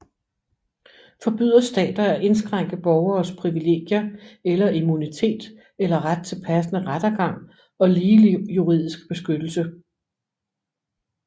Forbyder stater at indskrænke borgeres privilegier eller immunitet eller ret til passende rettergang og ligelig juridisk beskyttelse